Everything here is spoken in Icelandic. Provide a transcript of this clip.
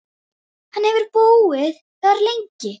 Hefurðu hitt hann?